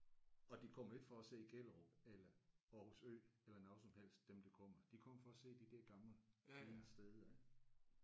Og de kommer ikke for at se Gellerup eller Aarhus Ø eller noget som helst dem der kommer. De kommer for at se de der gamle fine steder